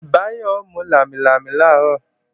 Báyọ̀ ó mú lámilámi làárọ̀